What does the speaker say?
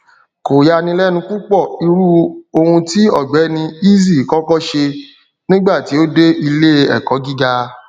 kò yanilẹnu púpọ irú ohun tí ọgbẹni eazi kọkọ ṣe nígbà tí ó dé iléẹkó gíga